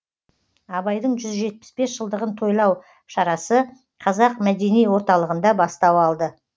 абайдың жүз жетпіс бес жылдығын тойлау шарасы қазақ мәдени орталығында бастау алды